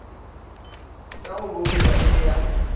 ya go bouta le ya